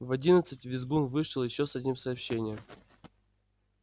в одиннадцать визгун вышел ещё с одним сообщением